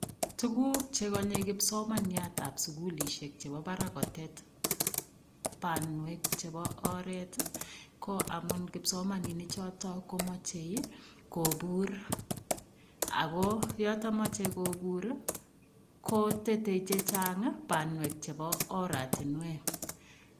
Tuguk che konye kipsomaniatab sugulisiek chebo barak kotet banwek chebo oret, ko amun kipsomaninik chotokomachei kopur. Ago yoto mochei kopur kotetei chechang ii banwek chebo oratinwek.